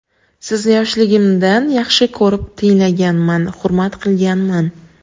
Sizni yoshligimdan yaxshi ko‘rib tinglaganman, hurmat qilganman.